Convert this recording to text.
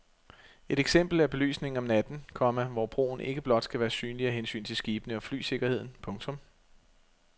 Et eksempel er belysningen om natten, komma hvor broen ikke blot skal være synlig af hensyn til skibene og flysikkerheden. punktum